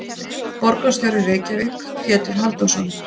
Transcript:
Borgarstjóri í Reykjavík: Pétur Halldórsson.